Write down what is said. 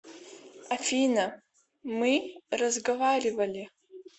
афина мы разговаривали